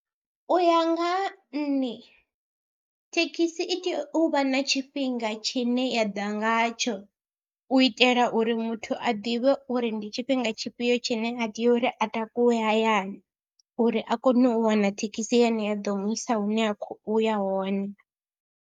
U ya nga ha nṋe thekhisi i tea u vha na tshifhinga tshine ya ḓa ngatsho u itela uri muthu a ḓivhe uri ndi tshifhinga tshifhio tshine a tea uri a takuwe hayani uri a kone u wana thekhisi yane ya ḓo mu isa hune a khou ya hone.